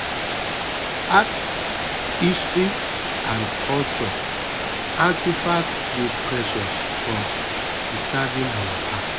art history and cultural artifacts dey precious for preserving our past